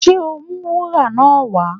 Ṣe o ó mú wúrà náà wá?